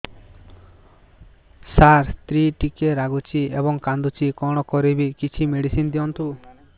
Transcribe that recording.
ସାର ସ୍ତ୍ରୀ ଟିକେ ରାଗୁଛି ଏବଂ କାନ୍ଦୁଛି କଣ କରିବି କିଛି ମେଡିସିନ ଦିଅନ୍ତୁ